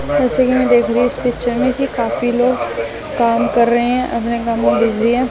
जैस कि मैं देख रही हूँ इस पिक्चर में कि काफी लोग काम कर रहे हैं अपने काम में बिजी हैं।